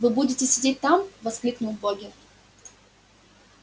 вы будете сидеть там воскликнул богерт